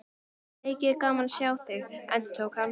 Mikið er gaman að sjá þig, endurtók hann.